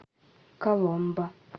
коломбо